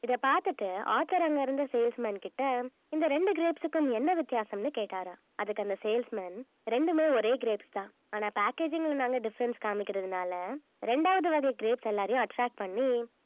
இத பார்த்துட்டு author அங்க இருந்த salesman கிட்ட இந்த ரெண்டு grapes க்கும் என்ன வித்தியாசம்ன்னு கேட்டாராம் அதுக்கு அந்த salesman ரெண்டுமே ஒரே grapes தான் ஆனா packaging ல நாங்க difference காமிக்கிறதுனால ரெண்டாவது வகை grapes எல்லாரையும் attract பண்ணி